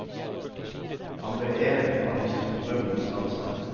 Han ble en av de store motstandsmenn.